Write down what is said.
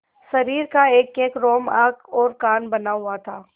शरीर का एकएक रोम आँख और कान बना हुआ था